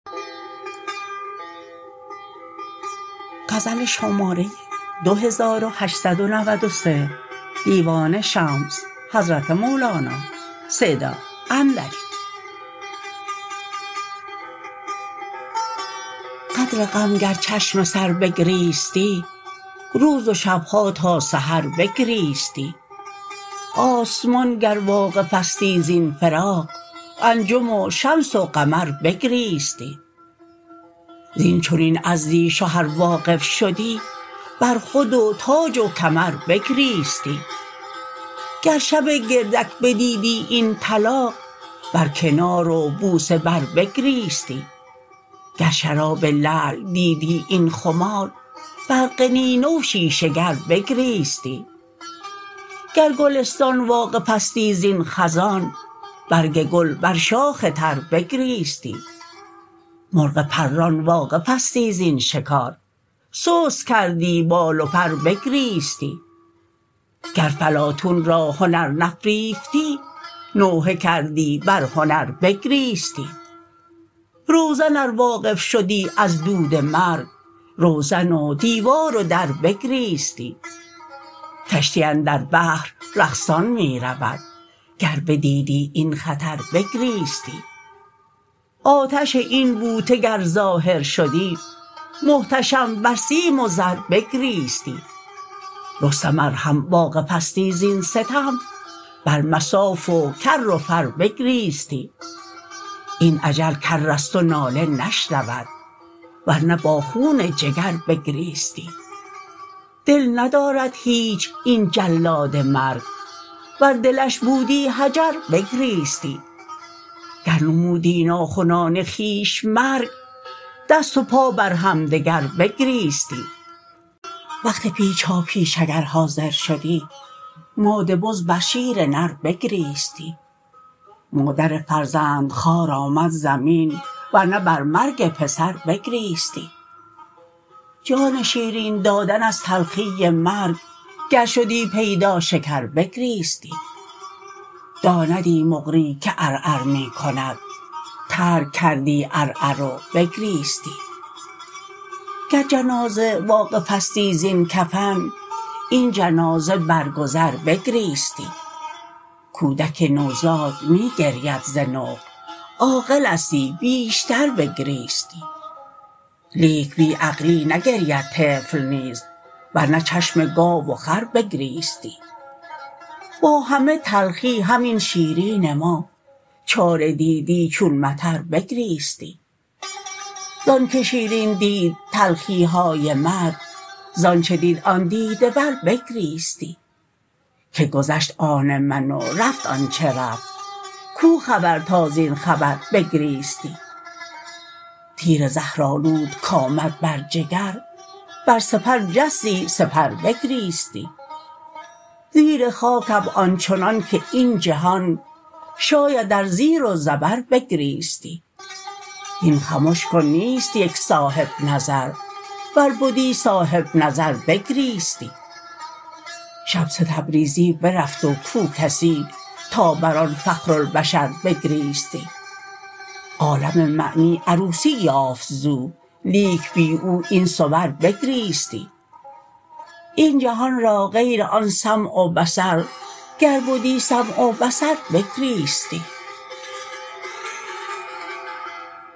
قدر غم گر چشم سر بگریستی روز و شب ها تا سحر بگریستی آسمان گر واقفستی زین فراق انجم و شمس و قمر بگریستی زین چنین عزلی شه ار واقف شدی بر خود و تاج و کمر بگریستی گر شب گردک بدیدی این طلاق بر کنار و بوسه بربگریستی گر شراب لعل دیدی این خمار بر قنینه و شیشه گر بگریستی گر گلستان واقفستی زین خزان برگ گل بر شاخ تر بگریستی مرغ پران واقفستی زین شکار سست کردی بال و پر بگریستی گر فلاطون را هنر نفریفتی نوحه کردی بر هنر بگریستی روزن ار واقف شدی از دود مرگ روزن و دیوار و در بگریستی کشتی اندر بحر رقصان می رود گر بدیدی این خطر بگریستی آتش این بوته گر ظاهر شدی محتشم بر سیم و زر بگریستی رستم ار هم واقفستی زین ستم بر مصاف و کر و فر بگریستی این اجل کر است و ناله نشنود ور نه با خون جگر بگریستی دل ندارد هیچ این جلاد مرگ ور دلش بودی حجر بگریستی گر نمودی ناخنان خویش مرگ دست و پا بر همدگر بگریستی وقت پیچاپیچ اگر حاضر شدی ماده بز بر شیر نر بگریستی مادر فرزندخوار آمد زمین ور نه بر مرگ پسر بگریستی جان شیرین دادن از تلخی مرگ گر شدی پیدا شکر بگریستی داندی مقری که عرعر می کند ترک کردی عر و عر بگریستی گر جنازه واقفستی زین کفن این جنازه بر گذر بگریستی کودک نوزاد می گرید ز نقل عاقلستی بیشتر بگریستی لیک بی عقلی نگرید طفل نیز ور نه چشم گاو و خر بگریستی با همه تلخی همین شیرین ما چاره دیدی چون مطر بگریستی زان که شیرین دید تلخی های مرگ زان چه دید آن دیده ور بگریستی که گذشت آن من و رفت آنچ رفت کو خبر تا زین خبر بگریستی تیر زهرآلود کآمد بر جگر بر سپر جستی سپر بگریستی زیر خاکم آن چنانک این جهان شاید ار زیر و زبر بگریستی هین خمش کن نیست یک صاحب نظر ور بدی صاحب نظر بگریستی شمس تبریزی برفت و کو کسی تا بر آن فخرالبشر بگریستی عالم معنی عروسی یافت زو لیک بی او این صور بگریستی این جهان را غیر آن سمع و بصر گر بدی سمع و بصر بگریستی